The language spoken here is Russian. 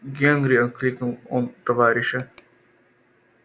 генри окликнул он товарища